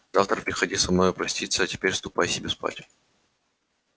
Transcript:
завтра приходи со мною проститься а теперь ступай себе спать